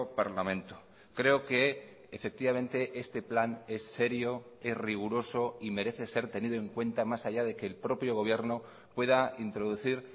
parlamento creo que efectivamente este plan es serio es riguroso y merece ser tenido en cuenta más allá de que el propio gobierno pueda introducir